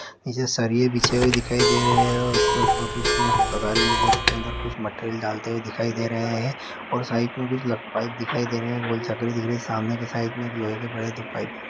नीचे सरिया बिछे हुए दिखाई दे रहे हैं और उसके ऊपर पर कुछ लोग तगारी लेके कर उसके अंदर कुछ मैटेरियल डालते हुए दिखाई दे रहे हैं और साइड में कुछ लक पाइप दिखाई रहे हैं और गोल चकरी दिख रही है सामने के साइड में एक लोहे के पड़े दो पाइप --